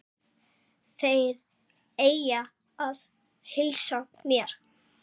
Þeir eiga að heilsa mér.